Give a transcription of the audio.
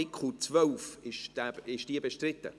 Art. 12 Angenommen